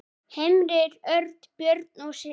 Heimir Örn, Björg og synir.